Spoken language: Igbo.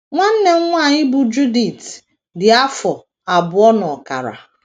Nwanne m nwanyị bụ́ Judith dị afọ abụọ na ọkara.